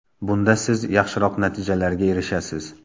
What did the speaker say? Bunda siz yaxshiroq natijalarga erishasiz!